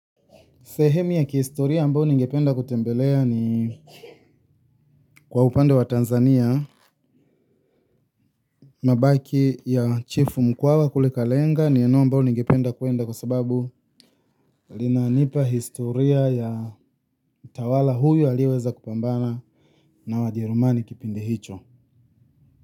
Sehemu ya kihistoria ambayo ningependa kutembelea ni kwa upande wa Tanzania, mabaki ya chief mkwawa kule kalenga ni eneo ambao ningependa kuenda kwa sababu linanipa historia ya mtawala huyu aliyeweza kupambana na wajerumani kipindi hicho.